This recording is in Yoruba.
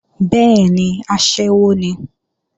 Bẹ́ẹ̀ni, aṣẹ́wó ni